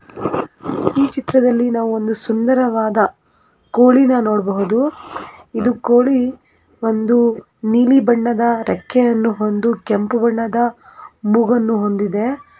ಈ ಚಿತ್ರದಲ್ಲಿ ನಾವು ಒಂದು ಸುಂದರವಾದ ಕೋಳಿನ ನೋಡಬಹುದು ಇದು ಕೋಳಿ ಬಂದು ನೀಲಿ ಬಣ್ಣದ ರೆಕ್ಕೆಯನ್ನು ಹೊಂದು ಕೆಂಪು ಬಣ್ಣದ ಮೂಗನ್ನು ಹೊಂದಿದೆ .